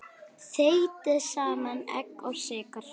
Þeytið saman egg og sykur.